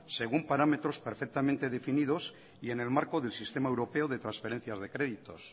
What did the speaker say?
según parámetros perfectamente definidos y en el marco del sistema europeo de transferencias de créditos